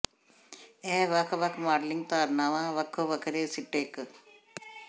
ਇਹ ਵੱਖ ਵੱਖ ਮਾਡਲਿੰਗ ਧਾਰਨਾਵਾਂ ਵੱਖੋ ਵੱਖਰੇ ਸਿੱਟੇ ਕੱ